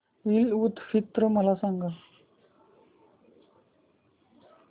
ईद उल फित्र मला सांग